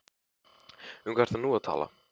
Um hvað ertu nú að tala?